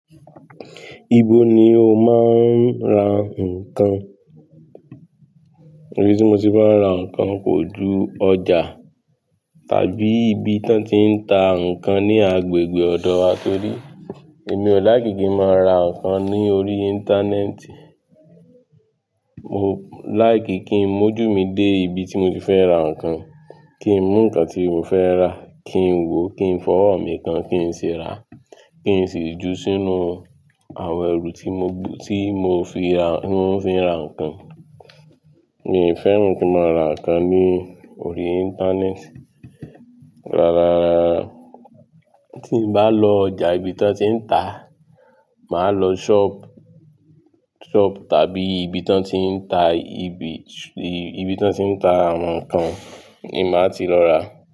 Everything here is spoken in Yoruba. Ibo ni o máa ń ra nǹkan? Ibi tí mo ti máa ń ra nǹkan kò ju ọjà, tàbí ibi tí wọ́n ti ń ta nǹkan ní agbègbè ọ̀dọ̀ wa torí èmi ò like kí n máa ra nǹkan lórí Íńtánẹ́ẹ̀tì. Mo like kí n oi ń mójú mi dé ibi tí mo ti fẹ́ ra nǹkan, kí ń mú nǹkan tí mo fẹ́ rà, kí ń wò ó, kí ń fọwọ́ mi kan kí ń sì rà á, kí ń sì jó sínú àwọn ẹrù tí mo fi ń ra nǹkan. Mi ò fẹ́ran mọ̀ kí n máa ra nǹkan lórí Íńtánẹ́ẹ̀tì. Rárá, tí n bá lọ ọjà nibi tí wọ́n ti ń ta, mà á lọ sọ́ọ̀bù tàbí ibi tí wọ́n ti ń ta àwọn nǹkan ni mà á ti lọ rà á.